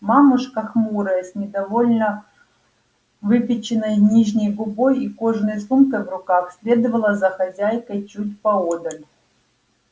мамушка хмурая с недовольно выпяченной нижней губой и кожаной сумкой в руках следовала за хозяйкой чуть поодаль